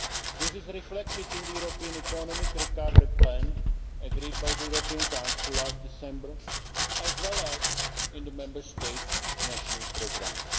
This is reflected in the European Economic Recovery Plan agreed by the European Council last December, as well as in the Member States' national programmes.